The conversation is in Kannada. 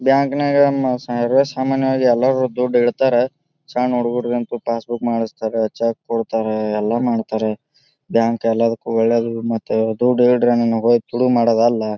ಬ್ಯಾಂಕ್ ನಾಗ ಮ ಇರು ಸಾಮಾನ್ಯ ವಾಗಿ ಎಲ್ಲ ದುಡ್ಡ್ ಇಡತಾರ. ಸಣ್ಣ ಹುಡುಗುರಿಗಂತೂ ಪಾಸ್ ಬುಕ್ ಮಾಡಿಸ್ತಾರಾ ಚೆಕ್ ಕೊಡ್ತಾರ. ಎಲ್ಲ ಮಾಡ್ತಾರ. ಬ್ಯಾಂಕ್ ಎಲ್ಲದಕ್ಕೂ ಒಳ್ಳೇದು ಮತ್ತ ದುಡ್ ಈಡ್ರಿ ನಿಮಗ ಹೋಗಿ ತುಡುಗ್ ಮಾಡೋದ್ ಅಲ್ಲ.